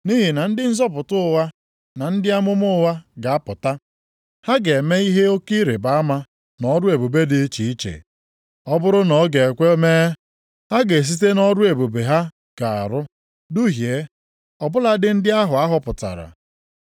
Nʼihi na ndị nzọpụta ụgha na ndị amụma ụgha ga-apụta. Ha ga-eme ihe oke ịrịbama na ọrụ ebube dị iche iche. Ọ bụrụ na ọ ga-ekwe mee, ha ga-esite nʼọrụ ebube ha ga-arụ duhie, ọ bụladị ndị ahụ a họpụtara.